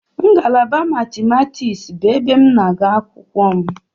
Ngalaba Matimatiksị bụ ebe m na-agụ akwụkwọ m.